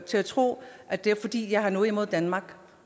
til at tro at det er fordi jeg har noget imod danmark